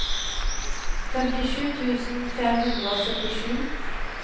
femtisju tusen fem hundre og syttisju